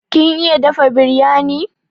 Kin iya dafa biryani?